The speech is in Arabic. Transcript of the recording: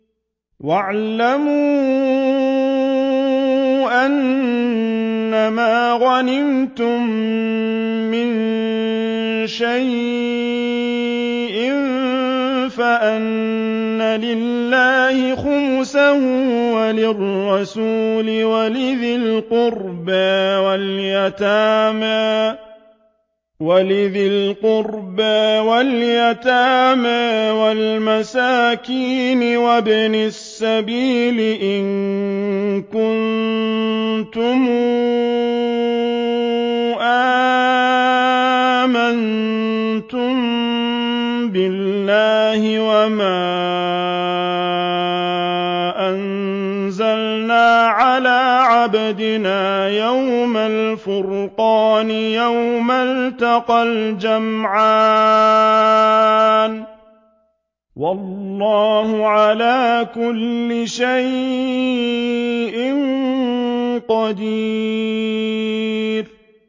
۞ وَاعْلَمُوا أَنَّمَا غَنِمْتُم مِّن شَيْءٍ فَأَنَّ لِلَّهِ خُمُسَهُ وَلِلرَّسُولِ وَلِذِي الْقُرْبَىٰ وَالْيَتَامَىٰ وَالْمَسَاكِينِ وَابْنِ السَّبِيلِ إِن كُنتُمْ آمَنتُم بِاللَّهِ وَمَا أَنزَلْنَا عَلَىٰ عَبْدِنَا يَوْمَ الْفُرْقَانِ يَوْمَ الْتَقَى الْجَمْعَانِ ۗ وَاللَّهُ عَلَىٰ كُلِّ شَيْءٍ قَدِيرٌ